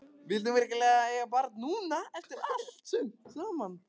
Vildi hún virkilega eiga barn núna, eftir allt saman?